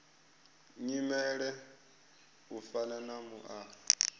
nyimele u fana na muaro